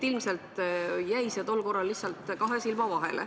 Ilmselt jäi see tollal lihtsalt kahe silma vahele.